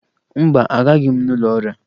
Mba, agaghị m n'ụlọ ọrịa